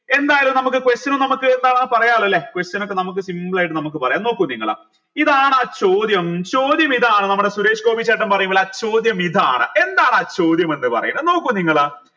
എന്തായാലും നമുക്ക് question നമുക്ക് എന്താണ് പറയാലോ ല്ലെ question ഒക്കെ നമുക്ക് simple ആയിട്ട് നമുക്ക് പറയാം നോക്കൂ നിങ്ങൾ ഇതാണാ ചോദ്യം ചോദ്യം ഇതാണ് നമ്മുടെ സുരേഷ് ഗോപി ചേട്ടൻ പറയുംപോലെ ആ ചോദ്യം ഇതാണ് എന്താണ് ആ ചോദ്യം എന്ന് പറയുന്നത് നോക്കു നിങ്ങൾ